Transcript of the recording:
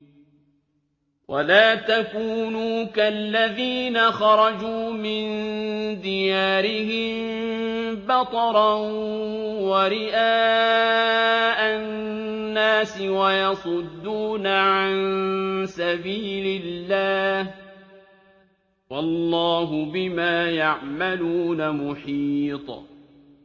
وَلَا تَكُونُوا كَالَّذِينَ خَرَجُوا مِن دِيَارِهِم بَطَرًا وَرِئَاءَ النَّاسِ وَيَصُدُّونَ عَن سَبِيلِ اللَّهِ ۚ وَاللَّهُ بِمَا يَعْمَلُونَ مُحِيطٌ